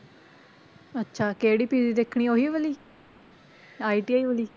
ਅੱਛਾ ਕਿਹੜੀ PG ਦੇਖਣੀ ਹੈ ਉਹੀ ਵਾਲੀ ITI ਵਾਲੀ?